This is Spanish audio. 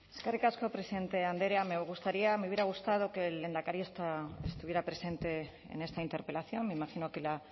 eskerrik asko presidente andrea me gustaría me hubiera gustado que el lehendakari estuviera presente en esta interpelación me imagino que la